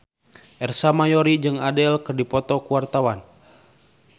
Ersa Mayori jeung Adele keur dipoto ku wartawan